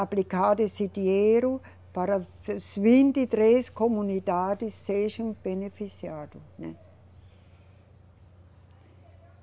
aplicado esse dinheiro para as vinte e três comunidades sejam beneficiadas, né.